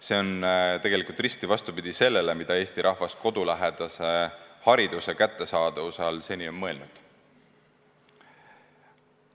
See on tegelikult risti vastupidi sellele, mida Eesti rahvas kodulähedase hariduse kättesaadavuse all seni on mõelnud.